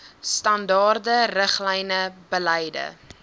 standaarde riglyne beleide